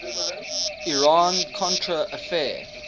iran contra affair